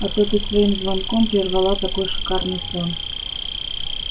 а ты-то своим звонком прервала такой шикарный сон